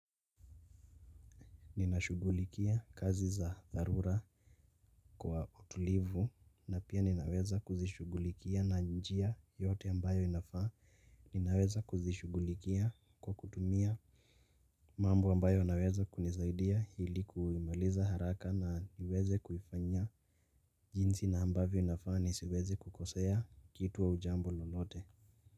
Ninashughulikia kazi za dharura kwa utulivu na pia ninaweza kuzishughulikia na njia yote ambayo inafaa ninaweza kuzishughulikia kwa kutumia mambo ambayo naweza kunisaidia ili kuimaliza haraka na niweze kuifanyia jinsi na ambavyo inafaa nisiweze kukosea kitu au jambo lolote.